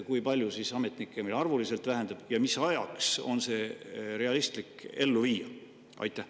Kui palju ametnike hulk meil siis arvuliselt väheneb ja mis ajaks on see realistlik ellu viia?